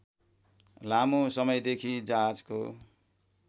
लामो समयदेखि जहाजको